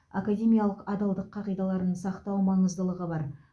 академиялық адалдық қағидаларын сақтау маңыздылығы бар